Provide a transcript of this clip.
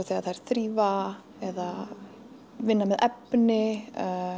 þegar þær þrífa eða vinna með efni